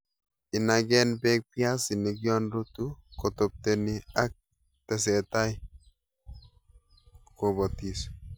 Inagen beek piaisinik yon rutu, kotopteni ak tesetai kobitos